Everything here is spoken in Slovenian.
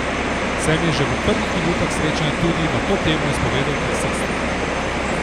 Se mi je že v prvih minutah srečanja tudi na to temo izpovedal taksist.